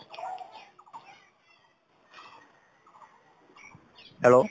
hello